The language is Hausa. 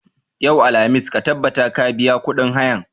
Yau, alhamis, ka tabbata ka biya kuɗin hayan!